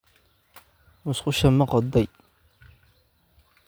Musqushaada ma qoday?